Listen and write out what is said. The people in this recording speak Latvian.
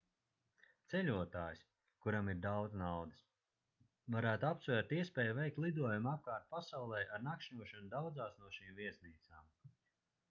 ceļotājs kuram ir daudz naudas varētu apsvērt iespēju veikt lidojumu apkārt pasaulei ar nakšņošanu daudzās no šīm viesnīcām